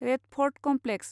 red fort complex